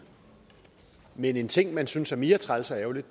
men en ting man synes er mere træls og ærgerlig